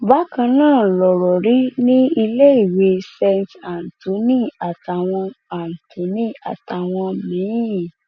bákan náà lọrọ rí ní iléèwé saint anthony àtàwọn anthony àtàwọn míín